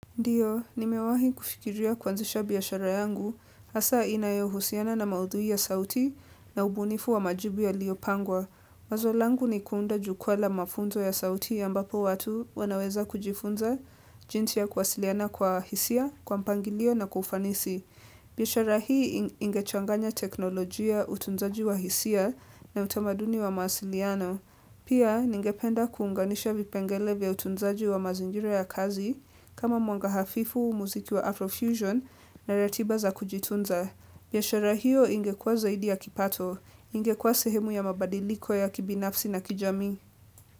Ndiyo, nimewahi kufikiria kuanzisha biashara yangu, hasa inayohusiana na maudhui ya sauti na ubunifu wa majibu yaliopangwa. Wazo langu ni kuunda jukwa la mafunzo ya sauti ambapo watu wanaweza kujifunza jinsia kuwasiliana kwa hisia, kwa mpangilio na kwa ufanisi. Bi ashara hii ingechanganya teknolojia utunzaji wa hisia na utamaduni wa mahasiliano. Pia, ningependa kuunganisha vipengele vya utunzaji wa mazinjira ya kazi, kama mwanga hafifu, muziki wa Afrofusion, na ratiba za kujitunza. Biashera hiyo ingekuwa zaidi ya kipato, ingekuwa sehemu ya mabadiliko ya kibinafsi na kijami.